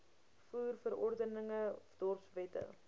voer verordeninge dorpswette